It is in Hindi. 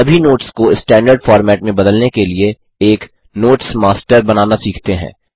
सभी नोट्स को स्टैन्डर्ड फ़ॉर्मेट में बदलने के लिए एक नोट्स मास्टर बनाना सीखते हैं